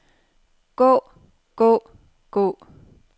gå gå gå